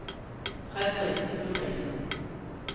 Fredrik Ulriksen